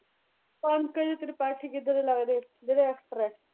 ਪੰਕਜ ਤ੍ਰਿਪਾਠੀ ਕਿੱਦਾਂ ਦੇ ਲੱਗਦੇ ਆ ਜਿਹੜੇ ਅਫ਼ਸਰ ਆ?